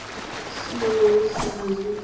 siho hu si na zwiitisi